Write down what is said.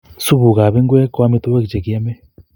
Supukap ngwek ko amitwogik che kiamei